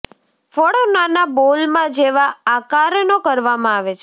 ફળો નાના બોલમાં જેવા આકારનો કરવામાં આવે છે